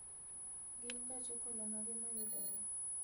Gin gach okolomage ma yudore